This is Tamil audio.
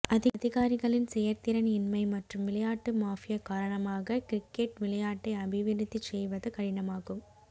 அதிகாரிகளின் செயற் திறன் இன்மை மற்றும் விளையாட்டு மாபியா காரணமாக கிரிக்கெட் விளையாட்டை அபிவிருத்திச் செய்வது கடினமாகும்